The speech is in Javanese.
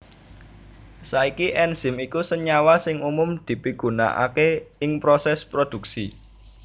Saiki enzim iku senyawa sing umum dipigunaaké ing prosès prodhuksi